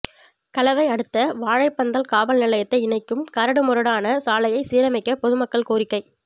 கலவை அடுத்த வாழைப்பந்தல் காவல் நிலையத்தை இணைக்கும் கரடு முரடான சாலையை சீரமைக்க பொதுமக்கள் கோரிக்கை